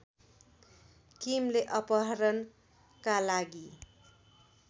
किमले अपहरणका लागि